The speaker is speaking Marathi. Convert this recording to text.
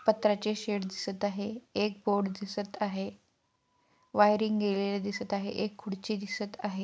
पत्राचे शेड दिसत आहे एक बोर्ड दिसत आहे वायरिंग गेलेले दिसत आहे एक खुर्ची दिसत आहे.